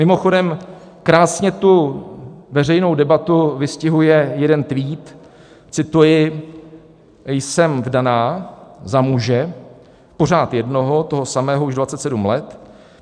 Mimochodem krásně tu veřejnou debatu vystihuje jeden tweet - cituji: "Jsem vdaná za muže, pořád jednoho, toho samého, už 27 let.